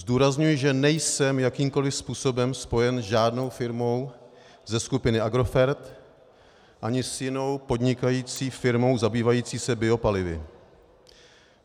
Zdůrazňuji, že nejsem jakýmkoli způsobem spojen s žádnou firmou ze skupiny Agrofert ani s jinou podnikající firmou zabývající se biopalivy.